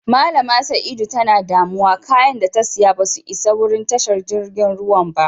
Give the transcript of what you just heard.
Mallama Saidu tana damuwa, káayán da ta siya basu isa wurin tashar jirigin ruwan ba.